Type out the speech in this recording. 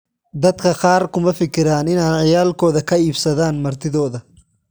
Dadka kaar kumafikiran inan ciyalkodha kaiibsadhan martidhodha.